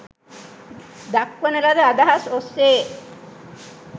දක්වනලද අදහස් ඔස්සේ